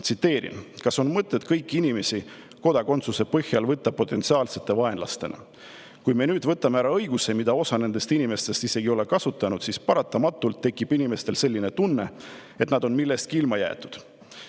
Tsiteerin: "Kas on mõtet kõiki inimesi kodakondsuse põhjal võtta potentsiaalsete vaenlastena Kui me nüüd võtame ära õiguse, mida isegi ei ole kasutanud, siis paratamatult inimestel tekib selline tunne, et nad on millestki ilma jäetud.